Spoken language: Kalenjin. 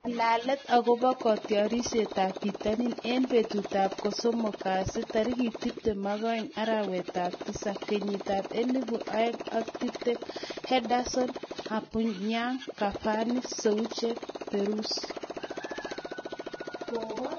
Ng'alalet akobo kotiorsetab bitonin eng betutab kosomok kasi tarik tiptem ak oeng , arawetab tisab l, kenyitab elebu oeng ak tiptem: Henderson, Aubameyoung, Cavani ,Soucek, Bruce